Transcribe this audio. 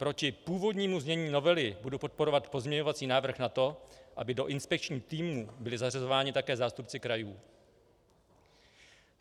Proti původnímu znění novely budu podporovat pozměňovací návrh na to, aby do inspekčních týmů byli zařazováni také zástupci krajů.